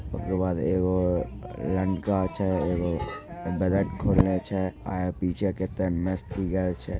इकेबाद ये लंका छे। एवो बादक कोरिया छै। आये पीछे कुछ मस्ती कर रहे छे।